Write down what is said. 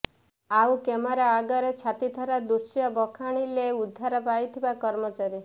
ଆଉ କ୍ୟାମେରା ଆଗରେ ଛାତିଥରା ଦୃଶ୍ୟ ବଖାଣିଲେ ଉଦ୍ଧାର ପାଇଥିବା କର୍ମଚାରୀ